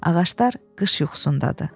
Ağaclar qış yuxusundadır.